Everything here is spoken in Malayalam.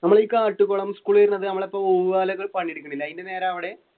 നമ്മൾ ഈ കാട്ടുകുളം സ്കൂൾ അതിന്റെ നേരെയെവിടെ?